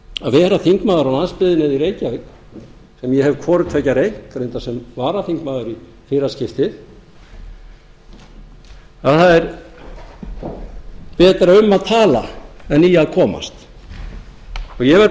að vera þingmaður á landsbyggðinni eða í reykjavík sem ég hef hvorutveggja reynt reyndar sem varaþingmaður í fyrra skiptið að það er betra um að tala en í að komast ég verð